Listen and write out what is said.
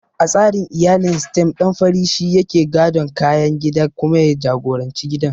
A tsarin iyalin Sitem, ɗan fari shi yake gadon kayan gida kuma ya jagoranci gidan.